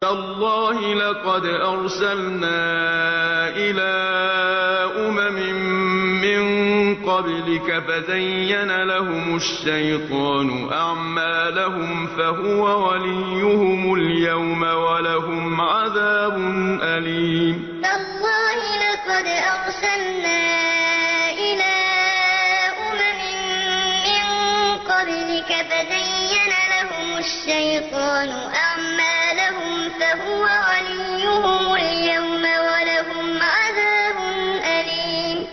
تَاللَّهِ لَقَدْ أَرْسَلْنَا إِلَىٰ أُمَمٍ مِّن قَبْلِكَ فَزَيَّنَ لَهُمُ الشَّيْطَانُ أَعْمَالَهُمْ فَهُوَ وَلِيُّهُمُ الْيَوْمَ وَلَهُمْ عَذَابٌ أَلِيمٌ تَاللَّهِ لَقَدْ أَرْسَلْنَا إِلَىٰ أُمَمٍ مِّن قَبْلِكَ فَزَيَّنَ لَهُمُ الشَّيْطَانُ أَعْمَالَهُمْ فَهُوَ وَلِيُّهُمُ الْيَوْمَ وَلَهُمْ عَذَابٌ أَلِيمٌ